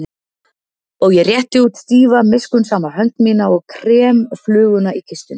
Og ég rétti út stífa miskunnsama hönd mína og krem fluguna í kistunni.